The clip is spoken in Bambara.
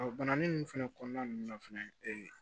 bananin ninnu fɛnɛ kɔnɔna nunnu na fɛnɛ ee